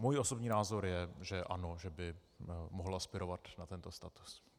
Můj osobní názor je, že ano, že by mohla aspirovat na tento status.